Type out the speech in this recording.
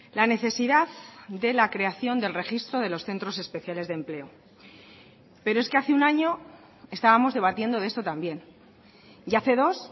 la necesidad de la creación del registro de los centros especiales de empleo pero es que hace un año estábamos debatiendo de esto también y hace dos